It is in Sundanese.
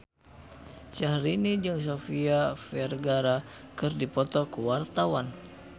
Syahrini jeung Sofia Vergara keur dipoto ku wartawan